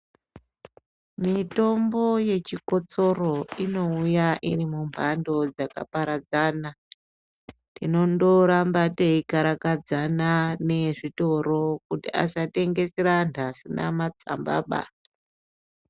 Mitombo yechikotsoro inouya iri mumhando dzakaparadzana tinondorambe teikarakadzana nezvitoro kuti asatengesera anhu asina matsambaba.